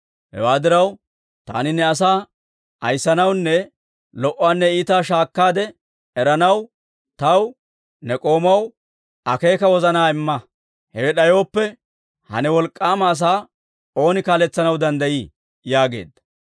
Hewaa diraw, taani ne asaa ayissanawunne lo"uwaanne iitaa shaakkaade eranaw taw ne k'oomaw akeeka wozanaa imma. Hewe d'ayooppe, ha ne wolk'k'aama asaa ooni kaaletsanaw danddayii?» yaageedda.